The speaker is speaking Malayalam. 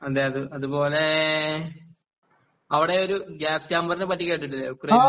അതേ അത്പോലെ അവിടെ ഒരു ഗാസ് ചേമ്പറിനെ പറ്റി കേട്ടിട്ടില്ലേ യുക്രൈനിൽ